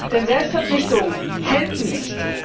Denn Selbstverpflichtungen helfen nicht.